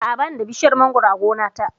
A'a, ba ni da bishiyar mangoro a gona ta